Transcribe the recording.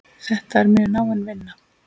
Þetta er mjög náin vinna.